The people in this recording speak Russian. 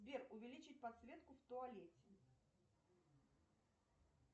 сбер увеличить подсветку в туалете